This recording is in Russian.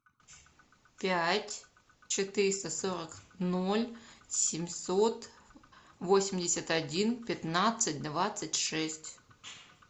пять четыреста сорок ноль семьсот восемьдесят один пятнадцать двадцать шесть